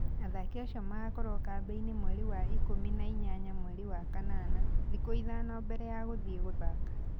Athaki acio magakorũo kambĩ-inĩ mweri wa ikũmi na inyanya mweri wa kanana, thikũ ithano mbere ya gũthiĩ gũthaaka.